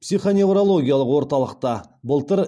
психоневрологиялық орталықта былтыр